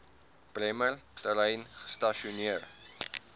bremer terrein gestasioneer